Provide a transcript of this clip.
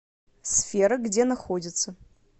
сфера где находится